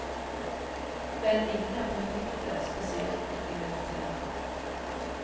Vel, ingen er perfekte, spesielt ikke militære.